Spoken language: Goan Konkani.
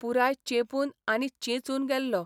पुराय चेंपून आनी चेंचून गेल्लो.